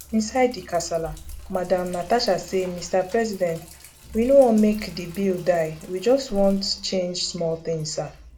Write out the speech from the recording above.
inside di kasala madam natasha say mr president we no want make di bill die we just want change small tin sir